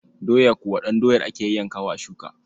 Doya kuwa ɗan doyar ake yayyankawa a shuka.